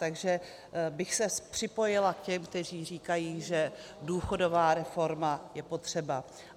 Takže bych se připojila k těm, kteří říkají, že důchodová reforma je potřeba.